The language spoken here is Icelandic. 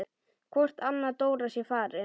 Hvort Anna Dóra sé farin.